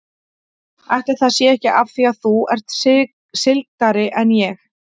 Ætli það sé ekki af því að þú ert sigldari en ég.